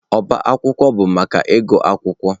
Ọbá akwụkwọ bụ maka ịgụ akwụkwọ.